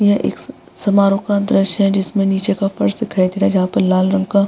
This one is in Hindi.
यह एक समारोह का दृश्य है जिसमें नीचे का फर्श दिखाई दे रहा है जहाँ पे लाल रंग का --